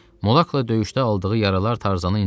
Molakla döyüşdə aldığı yaralar Tarzanı incitirdi,